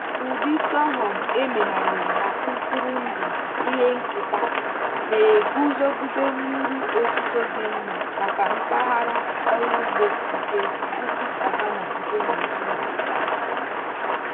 ụdị sorghum emegharịrị na mkpụrụ ndụ ihe nketa na-eguzogide mmiri ozuzo dị mma maka mpaghara ọrụ ugbo nke ugwu savanna nke nigeria.